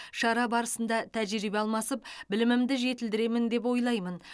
шара барысында тәжірибе алмасып білімімді жетілдіремін деп ойлаймын